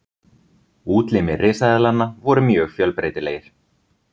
Útlimir risaeðlanna voru mjög fjölbreytilegir.